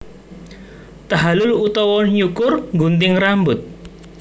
Tahallul utawa Nyukur nggunting rambut